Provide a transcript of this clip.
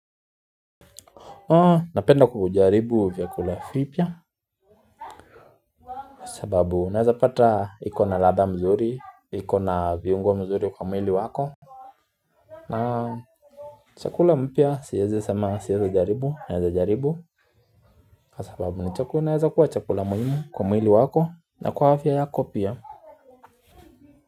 Napenda kujaribu vyakula vipya, sababu unaeza pata ikona ladha mzuri, ikona viungo mzuri kwa mwili wako na chakula mpya siwezi sema siwezi jaribu naweza jaribu sababu inaeza kuwa chakula muhimu kwa mwili wako na kwa afya yako pia.